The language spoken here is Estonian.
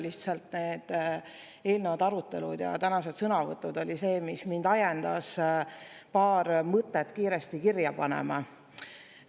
Lihtsalt eelnevad arutelud ja tänased sõnavõtud oli see, mis mind ajendas paar mõtet kiiresti kirja panema.